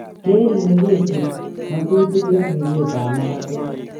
Keer ile keisib ng'otutik eng' ribeet ab magatet